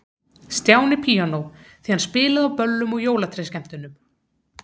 Stjáni píanó, því hann spilaði á böllum og jólatrésskemmtunum.